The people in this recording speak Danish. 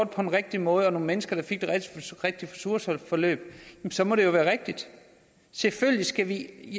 på den rigtige måde og nogle mennesker der fik det rigtige ressourceforløb så må det jo være rigtigt selvfølgelig skal